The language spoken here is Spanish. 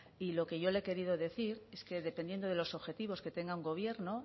y lo que yo le he querido decir es que dependiendo de los objetivos que tenga un gobierno